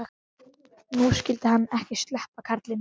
Nú skyldi hann ekki sleppa, karlinn.